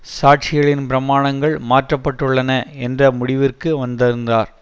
சாட்சிகளின் பிரமாணங்கள் மாற்றப்பட்டுள்ளன என்ற முடிவிற்கு வந்திருந்தார்